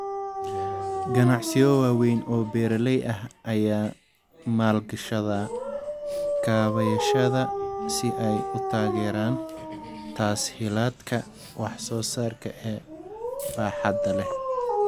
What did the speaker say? Ganacsiyo waaweyn oo beeraley ah ayaa maalgashada kaabayaasha si ay u taageeraan tas-hiilaadka wax soo saarka ee baaxadda leh.